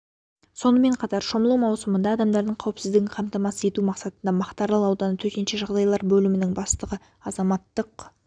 сонымен қатар шомылу маусымында адамдардың қауіпсіздігін қамтамасыз ету мақсатында мақтаарал ауданы төтенше жағдайлар бөлімінің бастығы азаматтық